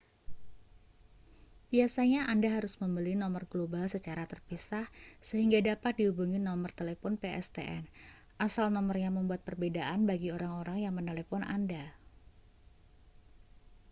biasanya anda harus membeli nomor global secara terpisah sehingga dapat dihubungi nomor telepon pstn. asal nomornya membuat perbedaan bagi orang-orang yang menelepon anda